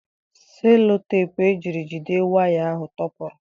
Seloteepụ e jiri jide waya ahụ tọpụrụ.